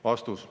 " Vastus.